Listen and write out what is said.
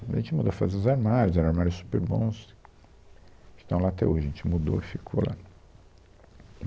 A gente mandou fazer os armários, eram armários super bons, que estão lá até hoje, a gente mudou e ficou lá.